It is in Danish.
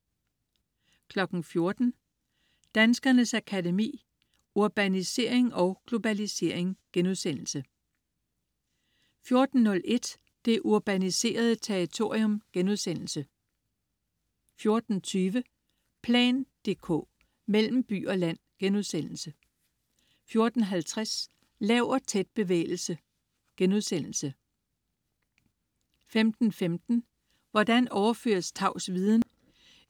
14.00 Danskernes Akademi: Urbanisering & Globalisering* 14.01 Det urbaniserede Territorium* 14.20 Plan dk: Mellem by og land* 14.50 Lav og tæt-bevægelsen* 15.15 Hvordan overføres tavs viden